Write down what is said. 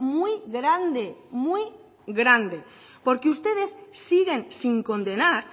muy grande muy grande porque ustedes siguen sin condenar